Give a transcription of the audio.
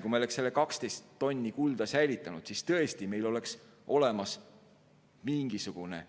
Kui me oleksime selle 12 tonni kulda säilitanud, siis meil tõesti oleks olemas mingisugune